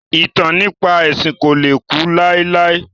Ìtàn nípa ẹ̀sìn ko le ku láéláé